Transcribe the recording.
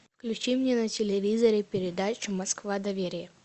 включи мне на телевизоре передачу москва доверие